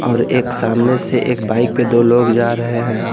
और एक सामने से एक बाइक पे दो लोग जा रहे हैं।